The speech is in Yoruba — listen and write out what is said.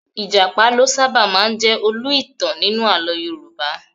Ìjàpá ló sábà máa ń jẹ olú - ìtàn nínú àlọ́ Yorùbá